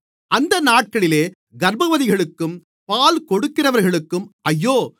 அந்த நாட்களிலே கர்ப்பவதிகளுக்கும் பால்கொடுக்கிறவர்களுக்கும் ஐயோ